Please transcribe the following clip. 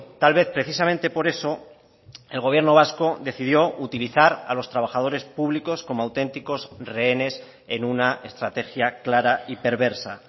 tal vez precisamente por eso el gobierno vasco decidió utilizar a los trabajadores públicos como auténticos rehenes en una estrategia clara y perversa